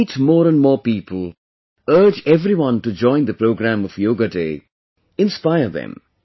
Meet more and more people, urge everyone to join the program of 'Yoga Day'; inspire them